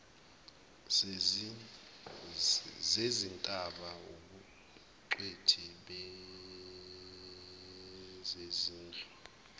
zezintaba ubungcweti bezezindlu